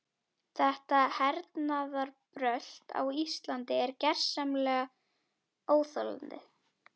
Þetta hernaðarbrölt á Íslandi er gersamlega óþolandi.